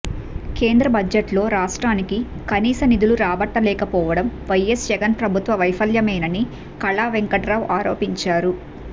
కేంద్ర బడ్జెట్లో రాష్ట్రానికి కనీస నిధులు రాబట్టలేకపోవడం వైఎస్ జగన్ ప్రభుత్వ వైఫల్యమేనని కళావెంకట్రావు ఆరోపించారు